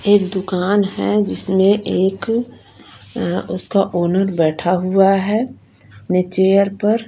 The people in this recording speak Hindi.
एक दुकान है जिसमें एक अ उसका ओनर बैठा हुआ है अ अपने चेयर पर।